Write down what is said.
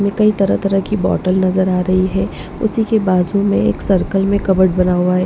में कई तरह-तरह की बॉटल नजर आ रही है उसी के बाजू में एक सर्कल में कवर्ड बना हुआ है।